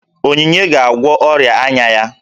Onyinye ga-agwọ ọrịa anya ya